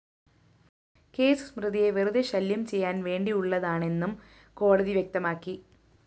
case സ്മൃതിയെ വെറുതേ ശല്യം ചെയ്യാന്‍ വേണ്ടിയുള്ളതാണെന്നും കോടതി വ്യക്തമാക്കി